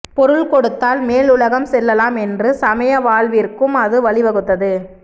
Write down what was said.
பொருள் கொடுத்தால் மேலுலகம் செல்லலாம் என்று சமய வாழ்விற்கும் அது வழி வகுத்தது